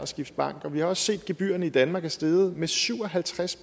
skifte bank og vi har også set at gebyrerne i danmark er steget med syv og halvtreds